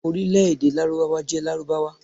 Orílẹ̀ èdè Lárúbáwá jẹ́ Lárúbáwá.